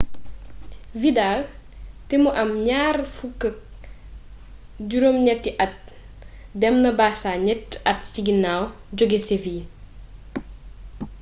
vidal te mu am 28-at dem na barça ñetti at ci ginnaaw jóge seville